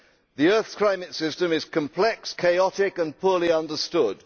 The earth's climate system is complex, chaotic and poorly understood.